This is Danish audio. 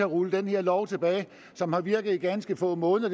rulle den her lov tilbage som har virket i ganske få måneder